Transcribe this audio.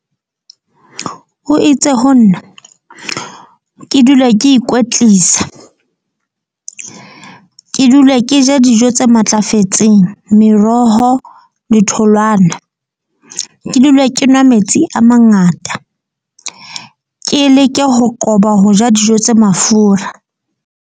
O itse ho nna ke dule ke ikwetlisa. Ke dule ke je dijo tse matlafetseng. Meroho le tholwana. Ke dule ke nwa metsi a mangata, ke leke ho qoba ho ja dijo tse mafura.